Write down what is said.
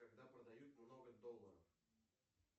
когда продают много долларов